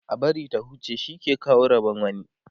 a bari ta huce shi ke kawo Rabon wani